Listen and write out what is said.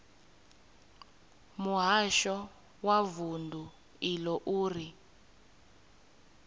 muhasho wa vundu iḽo uri